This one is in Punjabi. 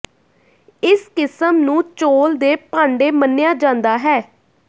ਇਸ ਕਿਸਮ ਨੂੰ ਚੌਲ਼ ਦੇ ਭਾਂਡੇ ਮੰਨਿਆ ਜਾਂਦਾ ਹੈ